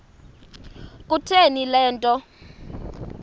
kutheni le nto